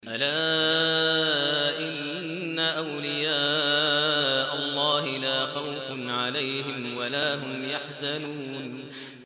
أَلَا إِنَّ أَوْلِيَاءَ اللَّهِ لَا خَوْفٌ عَلَيْهِمْ وَلَا هُمْ يَحْزَنُونَ